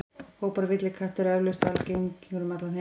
Hópar villikatta eru eflaust algengir um allan heim.